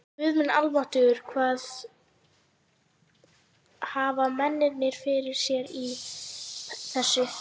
Guð minn almáttugur hvað hafa mennirnir fyrir sér í þessu?